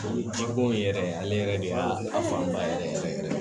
O ye ji bɔn yen yɛrɛ ale yɛrɛ de y'a fanba yɛrɛ yɛrɛ